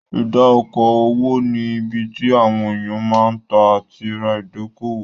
Ìdá okò òwò ni ibi tí àwọn èèyàn máa ń tà àti ra ìdókòwò